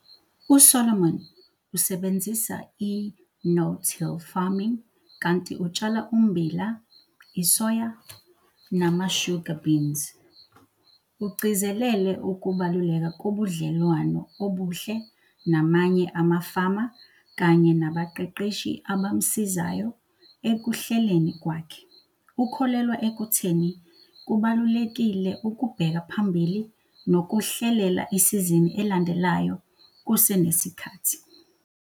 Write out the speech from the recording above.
USolomon usebenzisa i-no-till farming kanti utshala ummbila, isoya nama-sugar beans. Ugcizelele ukubaluleka kobudlelwano obuhle namanye amafama kanye nabaqeqeshi abamsizayo ekuhleleni kwakhe. Ukholelwa ekutheni kubalulekile ukubheka phambili nokuhlelela isizini elandelayo kusenesikhathi.